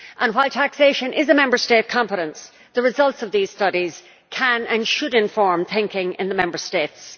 While taxation is a Member State competence, the results of these studies can and should inform thinking in the Member States.